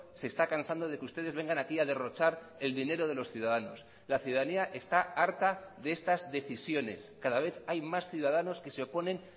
se está cansando de que ustedes vengan aquí a derrochar el dinero de los ciudadanos la ciudadanía está harta de estas decisiones cada vez hay más ciudadanos que se oponen